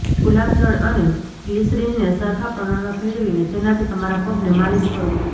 ગુલાબજળ અને ગ્લીસરીન ને સરખા પ્રમાણમાં ભેળવીને તેનાથી તમારા પગને માલીશ કરો